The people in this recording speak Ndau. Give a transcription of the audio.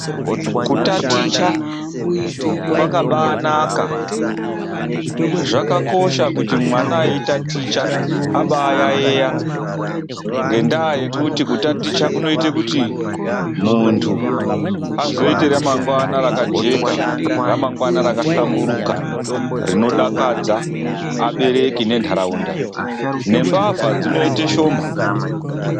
Kutaticha kwakabaanaka, zvakakosha kuti mwana eyi taticha abaayayeya ngendaa yekuti kutaticha kunoita kuti muntu azoita ramangwani rakajeka. Ramangwana rakahlamburuka rinodakadza abereki nendaraunda nembavha dzinoite shoma.